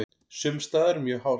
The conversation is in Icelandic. Sums staðar mjög hált